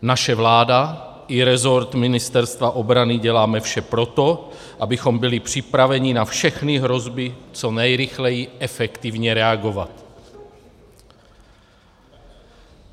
Naše vláda i resort Ministerstva obrany děláme vše pro to, abychom byli připraveni na všechny hrozby co nejrychleji efektivně reagovat.